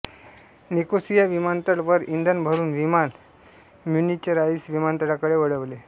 Nicosia विमानतळ वर इंधन भरुन विमान म्युनिचराईम विमानतळाकडे वळविले